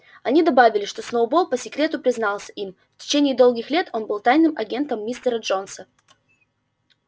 они добавили что сноуболл по секрету признался им в течение долгих лет он был тайным агентом мистера джонса